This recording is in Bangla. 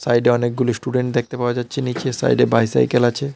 বাড়িটায় অনেকগুলি স্টুডেন্ট দেখতে পাওয়া যাচ্ছে নীচে সাইডে বাইসাইকেল আছে।